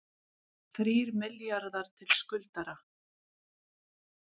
Þrír milljarðar til skuldara